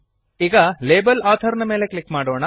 ಈಗ label author ಮೇಲೆ click ಮಾಡೋಣ